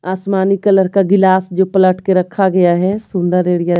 आसमानी कलर का गिलास जो पलट के रखा गया है सुंदर एरिया --